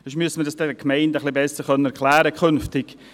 Sonst müssten wir dies den Gemeinden künftig besser erklären können.